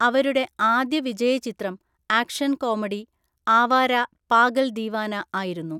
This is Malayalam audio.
അവരുടെ ആദ്യ വിജയചിത്രം ആക്ഷൻ കോമഡി, ആവാര പാഗൽ ദീവാന ആയിരുന്നു.